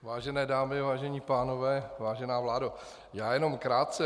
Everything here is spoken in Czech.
Vážené dámy, vážení pánové, vážená vládo, já jenom krátce.